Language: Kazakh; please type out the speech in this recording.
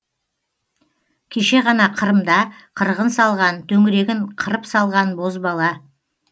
кеше ғана қырымда қырғын салған төңірегін қырып салған бозбала